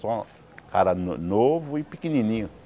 Só cara no novo e pequenininho.